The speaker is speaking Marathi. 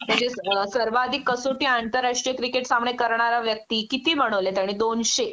त्याचीच सर्वाधिक कसोटी आंतरराष्टीय क्रिकेट सामने करणारा व्यक्ती किती म्हणवले त्याने दोनशे